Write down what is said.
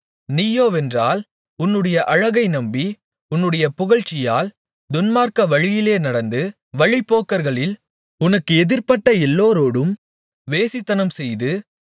நீயோவென்றால் உன்னுடைய அழகை நம்பி உன்னுடைய புகழ்ச்சியால் துன்மார்க்க வழியிலே நடந்து வழிப்போக்கர்களில் உனக்கு எதிர்பட்ட எல்லோரோடும் வேசித்தனம்செய்து